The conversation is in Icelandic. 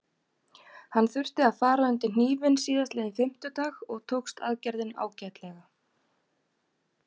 Hann þurfti að fara undir hnífinn síðastliðinn fimmtudag og tókst aðgerðin ágætlega.